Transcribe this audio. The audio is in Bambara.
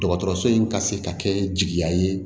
Dɔgɔtɔrɔso in ka se ka kɛ jigiya ye